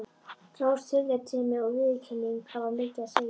Hrós, tillitssemi og viðurkenning hafa mikið að segja.